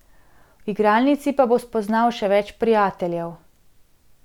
V igralnici pa bo spoznal še več prijateljev.